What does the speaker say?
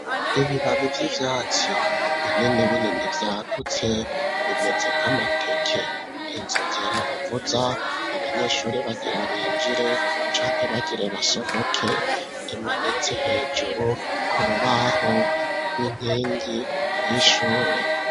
Ibibabi vy'ivyatsi, binini binini, vyagutse, bimeze nk'amateke; inzogera bavuza, abanyeshure bagira binjire, canke bagire basohoke, imanitse hejuru, ku rubaho, rw'inkingi y'ishure.